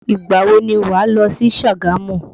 Ìgbà wo ni wà lọ sí Sagamu?